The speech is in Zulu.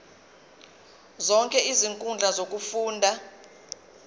zonke izinkundla zokufunda